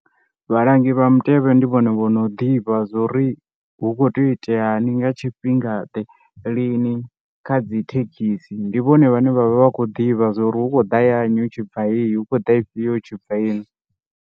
Vhalangi vha mutevhe ndi vhone vho no ḓivha zwori hu kho tea u iteani nga tshifhinga ḓe lini kha dzi thekhisi, ndi vhone vhane vhavha vha khou ḓivha zwa uri hu khou da ya nnyi hu tshibva heyi, hu khou da ifhio hu tshi bva heyi.